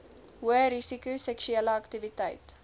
hoërisiko seksuele aktiwiteit